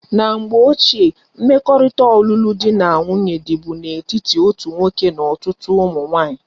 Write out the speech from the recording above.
Na mgbe ochie, mmekorita olulu di na nwunye di bu na etiti otu nwoke na otutu umu nwanyi